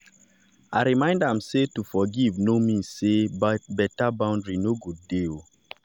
i remind am say to forgive no mean say better boundary no go dey.